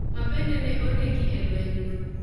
ma bende ne onegi e lwenyno.